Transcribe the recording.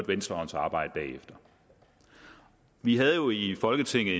venstrehåndsarbejde bagefter vi havde jo i folketinget